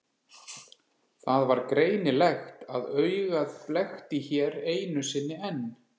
Það var greinilegt að augað blekkti hér einu sinni enn.